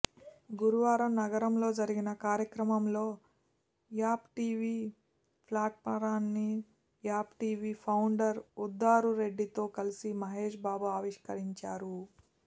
గురువారం నగరంలో జరిగిన కార్యక్రమంలో app TV ఫ్లాట్పారాన్ని app TV founder ఉదరురెడ్డితో కలిసి మహేష్బాబు ఆవిష్కరించారు